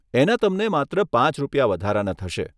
એના તમને માત્ર પાંચ રૂપિયા વધારાના થશે.